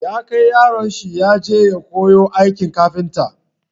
Ya kai yaron shi ya je koyon aikin kafinta.